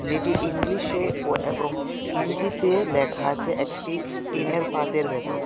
যেটি ইংলিশে ও এবং হিন্দিতে লেখা আছে একটি টিনের পাতের ভেতর .